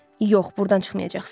Yox, burdan çıxmayacaqsız.